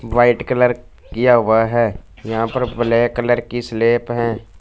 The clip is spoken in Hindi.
व्हाईट कलर किया हुआ है यहां पर ब्लैक कलर की स्लैप है।